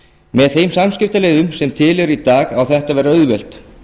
með þeim samskiptaleiðum sem til eru í dag á þetta að vera auðvelt